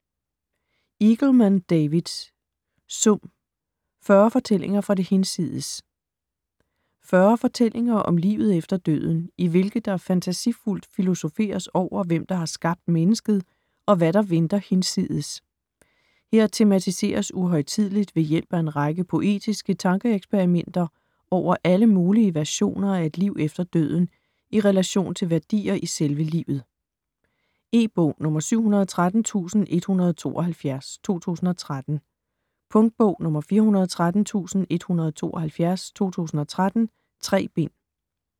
Eagleman, David: Sum: fyrre fortællinger fra det hinsides 40 fortællinger om livet efter døden i hvilke der fantasifuldt filosoferes over, hvem der har skabt mennesket, og hvad der venter hinsides. Her tematiseres uhøjtideligt ved hjælp af en række poetiske tankeeksperimenter over alle mulige versioner af et liv efter døden i relation til værdier i selve livet. E-bog 713172 2013. Punktbog 413172 2013. 3 bind.